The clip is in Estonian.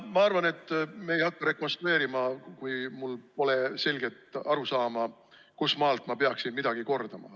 Ma arvan, et ma ei hakka rekonstrueerima, kui mul pole selget arusaama, kustmaalt ma peaksin midagi kordama.